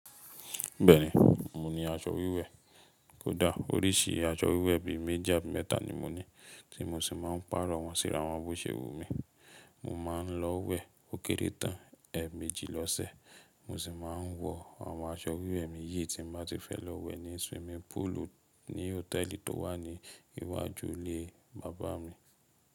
Bẹ́ẹ̀ni, mo ní aṣọ wíwẹ̀. Kódà oríṣi aṣọ wíwẹ̀ bíi meji mẹ́ta ni mo ní tí mo sì máa ń pàrọ̀ wọ́n síra àwọn bóṣẹ́ wu mi. Mo máa ń lọ wẹ̀ ó kéré tán ẹẹ̀ méjì lọ́sẹ̀. Mo sì máa ń wọ àwọn aṣọ wíwẹ̀ mi yìí tí mo bá ti fẹ́ lọ wẹ̀ ní swimming pool ní hòtẹ́ẹ̀lì tó wà ní iwájú ilé Bàbá mi.